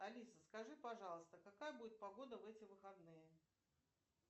алиса скажи пожалуйста какая будет погода в эти выходные